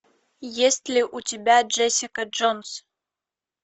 есть ли у тебя джессика джонс